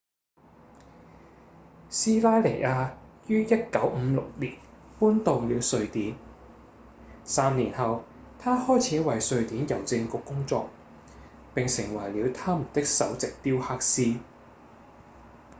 斯拉尼亞於1956年搬到了瑞典三年後他開始為瑞典郵政局工作並成為了他們的首席雕刻師